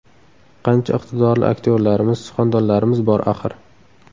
Qancha iqtidorli aktyorlarimiz, suxandonlarimiz bor, axir.